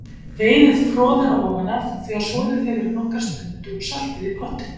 Veiðið froðuna ofan af, þegar soðið hefur í nokkra stund, og saltið í pottinn.